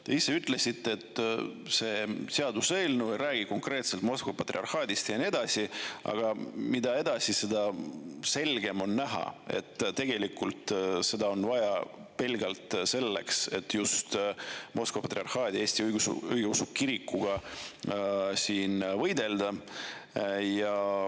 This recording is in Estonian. Te ise ütlesite, et see seaduseelnõu ei räägi konkreetselt Moskva patriarhaadist ja nii edasi, aga mida edasi, seda selgemini on näha, et seda on vaja pelgalt selleks, et just Moskva Patriarhaadi Eesti Õigeusu Kirikuga võidelda.